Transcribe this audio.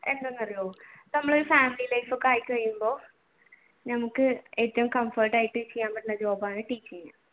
നമ്മൾ family life ഒക്കെയായി കഴിയുമ്പോ ഞമ്മക്ക് ഏറ്റവും comfort ആയിട്ട് ചെയ്യാൻ പറ്റണ job ആണ് ടീച്ചിങ്